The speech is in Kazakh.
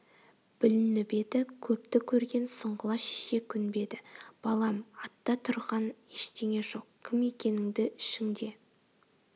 бүлініп еді көпті көрген сұңғыла шеше көнбеді балам атта тұрған ештеңе жоқ кім екеніңді ішіңде